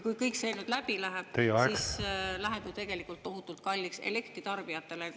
Kui kõik see eelnõu läbi läheb, siis see läheb tegelikult tohutult kalliks elektritarbijatele.